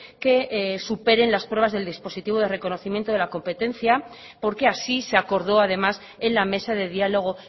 que superen las pruebas del dispositivo de reconocimiento de la competencia porque así se acordó además en la mesa de diálogo